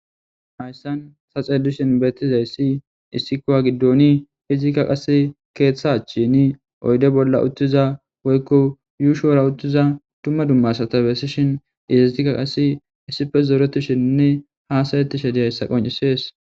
hayssan ta saxeelishin beetizayssi issikkowa giddoni hizikka qase keeththachchini oyde bolla uttiza woykko yuushuwora uttiza dumma dumma asata bessishin isizika qass issife zooretishininne haasayeti she diyayssa qoncisees